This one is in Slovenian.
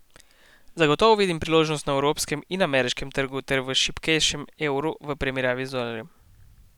Zagotovo vidim priložnosti na evropskem in ameriškem trgu ter v šibkejšem evru v primerjavi z dolarjem.